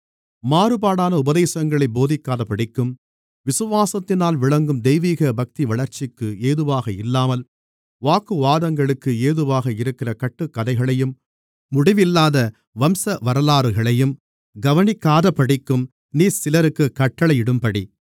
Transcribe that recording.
மாறுபாடான உபதேசங்களைப் போதிக்காதபடிக்கும் விசுவாசத்தினால் விளங்கும் தெய்வீக பக்திவளர்ச்சிக்கு ஏதுவாக இல்லாமல் வாக்குவாதங்களுக்கு ஏதுவாக இருக்கிற கட்டுக்கதைகளையும் முடிவில்லாத வம்சவரலாறுகளையும் கவனிக்காதபடிக்கும் நீ சிலருக்குக் கட்டளையிடும்படி